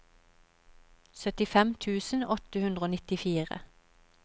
syttifem tusen åtte hundre og nittifire